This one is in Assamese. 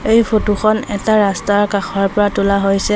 এই ফটো খন এটা ৰাস্তাৰ কাষৰ পৰা তোলা হৈছে।